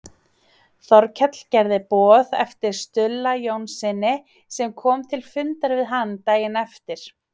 Þórkell gerði boð eftir Stulla Jónssyni sem kom til fundar við hann daginn eftir.